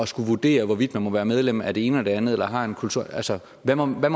skulle vurdere hvorvidt man må være medlem af det ene og det andet eller har en kultur altså hvad må man